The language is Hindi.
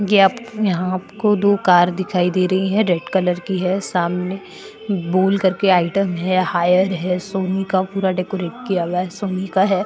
ये आप आपको यहां आपको दो कार दिखाई दे रही है रेड कलर की है सामने बोल करके आइटम है हायर है सोनी का पूरा डेकोरेट किया हुआ है सोनी का है।